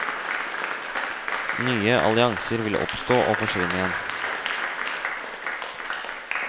Nye allianser vil oppstå og forsvinne igjen.